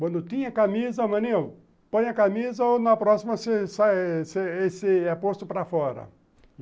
Quando tinha camisa, maninho, põe a camisa ou na próxima você você é posto para fora.